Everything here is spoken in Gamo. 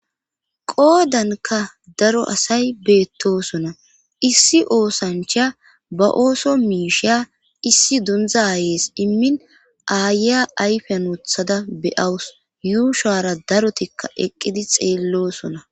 Qoodanka daro asay beettosona issi oosancha ba ooso miisheya issi dundza aayees immin aaya ayfyan wothada beyawus yuushara darotikka eqqidi xeellosona